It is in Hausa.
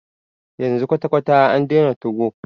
Yanzu kwata kwata a daina 2go.